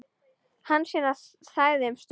Hansína þagði um stund.